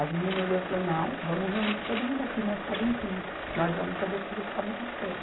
As meninas olhou e falou, não, vamos reunir todo mundo aqui, nós estávamos em quinze, nós vamos fazer o serviço para amanhã cedo.